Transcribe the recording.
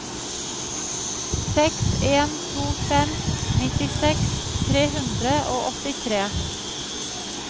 seks en to fem nittiseks tre hundre og åttitre